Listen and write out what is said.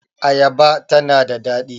Ayaba ta na da daɗi